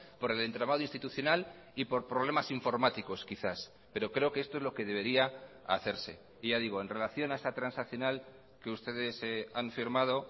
por el entramado institucional y por problemas informáticos quizás pero creo que esto es lo que debería hacerse y ya digo en relación a esa transaccional que ustedes han firmado